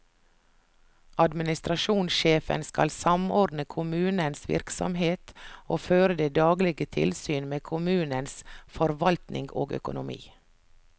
Administrasjonssjefen skal samordne kommunens virksomhet og føre det daglige tilsyn med kommunens forvaltning og økonomi.